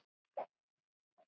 Er þetta ekki þriðja?